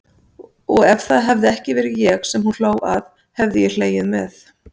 Og ef það hefði ekki verið ég sem hún hló að hefði ég hlegið með.